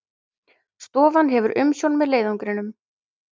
Stofan hefur umsjón með leiðangrinum